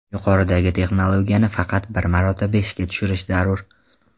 Yuqoridagi texnologiyani faqat bir marotaba ishga tushirish zarur.